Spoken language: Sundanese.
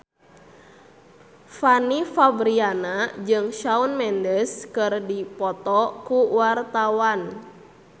Fanny Fabriana jeung Shawn Mendes keur dipoto ku wartawan